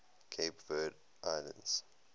cape verde islands